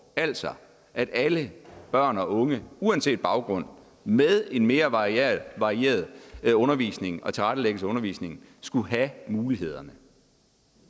altså at alle børn og unge uanset baggrund med en mere varieret varieret undervisning og tilrettelæggelse af undervisningen skulle have de muligheder